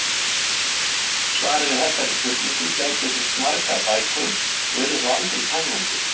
Svarið við þessari spurningu gæti fyllt margar bækur og yrði þó aldrei tæmandi.